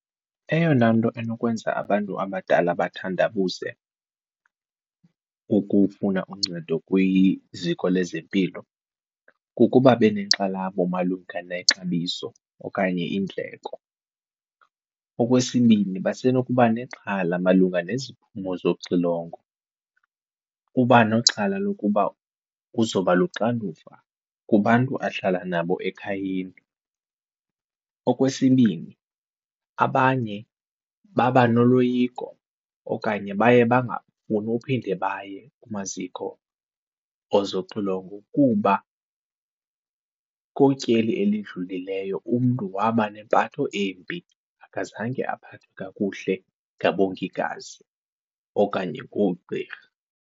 Eyona nto enokwenza abantu abadala bathandabuze ukufuna uncedo kwiziko lezempilo kukuba benenkxalabo malunga nexabiso okanye iindleko. Okwesibini, basenokuba nexhala malunga neziphumo zoxilongo, uba nexhala lokuba uzoba luxanduva kubantu ahlala nabo ekhayeni. Okwesibini, abanye baba noloyiko okanye baye bangafuni uphinde baye kumaziko ozoxilongo kuba kutyeli elidlulileyo umntu waba nempatho embi akazange aphathwe kakuhle ngabongikazi okanye ngoogqirha.